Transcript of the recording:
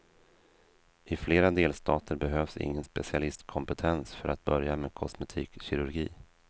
I flera delstater behövs ingen specialistkompetens för att börja med kosmetikkirurgi.